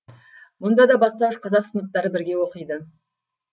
мұнда да бастауыш қазақ сыныптары бірге оқиды